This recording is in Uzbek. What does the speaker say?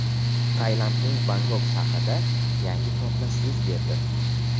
Tailandning Bangkok shahrida yangi portlash yuz berdi.